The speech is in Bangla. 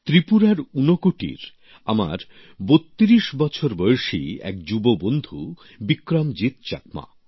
ত্রিপুরার ঊনকোটির ৩২ বছর বয়সী আমার এমনই এক যুবকবন্ধু বিক্রমজিত চাকমা